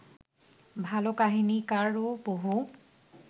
ভালো কাহিনীকারও বহু